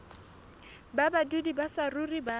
ba badudi ba saruri ba